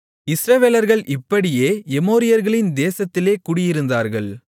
இஸ்ரவேலர்கள் இப்படியே எமோரியர்களின் தேசத்திலே குடியிருந்தார்கள்